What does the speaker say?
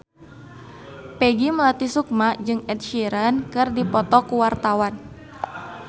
Peggy Melati Sukma jeung Ed Sheeran keur dipoto ku wartawan